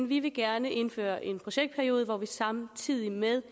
vi vil gerne indføre en projektperiode hvor vi samtidig med